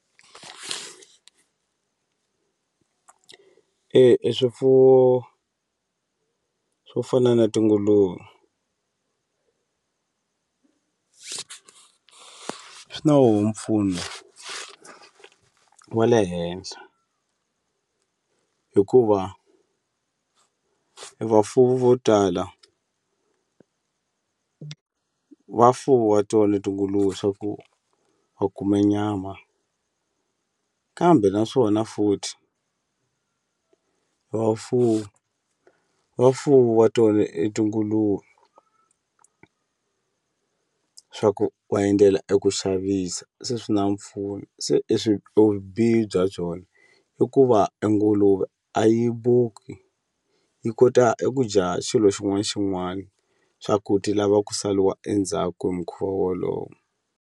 E e swifuwo swo fana na tinguluve swi na woho mpfuno wa le henhla hikuva e vafuwi vo tala va fuwa to le tinguluve swa ku va kume nyama kambe naswona futhi vafuwi vafuwa tona e tinguluve swa ku va endlela eku xavisa se swi na mpfuno se i swi vubihi bya byona i ku va e nguluve a yi yi kota eku dya xilo xin'wana na xin'wana swa ku ti lava ku saliwa endzhaku hi mukhuva wolowo.